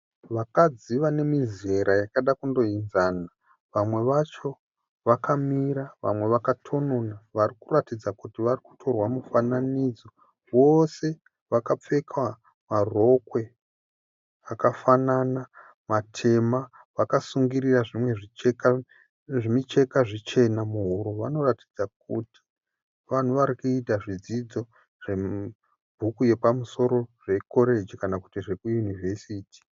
Vakadzi vane mizera yakada kundoenzana. Vamwe vacho vakamira, vamwe vakatonona. Vari kuratidza kuti vari kutorwa mufananidzo. Vose vakapfeka marokwe akafanana matema vakasungirira zvimwe zvimucheka zvichena muhuro. Vanoratidza kuti vanhu vari kuita zvidzidzo zvebhuku yapamusoro zvekoreji kana kuti zvokuunivhesiti.